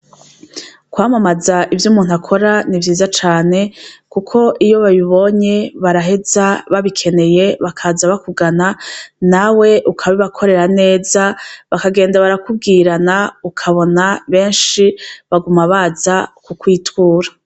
Kwamamaza ivy’umuntu akora ni vyiza cane kuko iyo babibonye baraheza babikeneye bakaza bakugana nawe ukabibakorera neza, bakagenda barakubwirana ukabona benshi baguma baza kukwitura.